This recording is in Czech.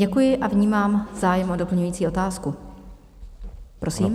Děkuji a vnímám zájem o doplňující otázku, prosím.